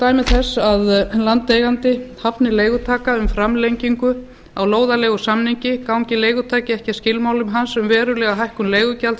dæmi þess að landeigandi hafni leigutaka um framlengingu á lóðaleigusamninga gangi leigutaki ekki að skilmálum hans um verulega hækkun leigugjalds